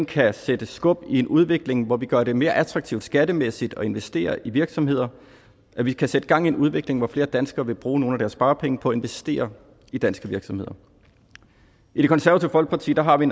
kan sætte skub i en udvikling hvor vi gør det mere attraktivt skattemæssigt at investere i virksomheder at vi kan sætte gang i en udvikling hvor flere danskere vil bruge nogle af deres sparepenge på at investere i danske virksomheder i det konservative folkeparti har vi